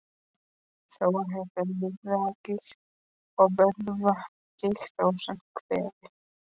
Þá er hætta á liðagigt og vöðvagigt, ásamt kvefi.